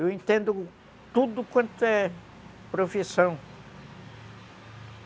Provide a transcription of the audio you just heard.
Eu entendo tudo quanto é profissão.